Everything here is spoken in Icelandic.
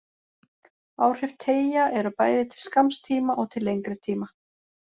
Áhrif teygja eru bæði til skamms tíma og til lengri tíma.